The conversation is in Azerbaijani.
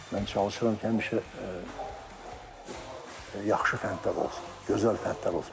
Mən çalışıram ki, həmişə yaxşı fəndlər olsun, gözəl fəndlər olsun.